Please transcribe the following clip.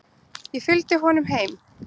Ég fylgdi honum heim.